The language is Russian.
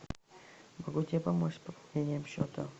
могу тебе помочь с пополнением счета